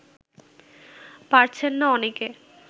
পারছেন না অনেকে